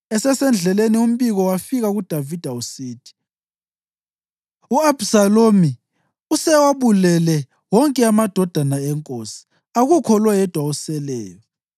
Esesendleleni umbiko wafika kuDavida usithi, “U-Abhisalomu usewabulele wonke amadodana enkosi, akukho leyodwa eseleyo.”